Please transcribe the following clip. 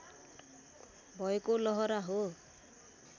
भएको लहरा हो